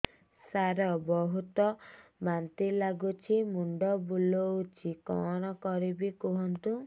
ସାର ବହୁତ ବାନ୍ତି ଲାଗୁଛି ମୁଣ୍ଡ ବୁଲୋଉଛି କଣ କରିବି କୁହନ୍ତୁ